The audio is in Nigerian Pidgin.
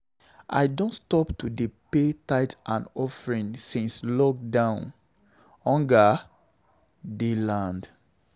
I don stop to dey pay tithe and offering since lockdown, hunger dey land.